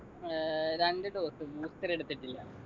ഏർ രണ്ടു dose booster എടുത്തിട്ടില്ല